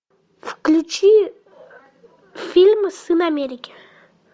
включи фильм сын америки